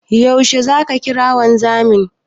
Yaushe zaka kira wanzamin?